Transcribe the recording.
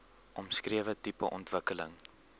omskrewe tipe ontwikkeling